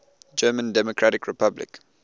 german democratic republic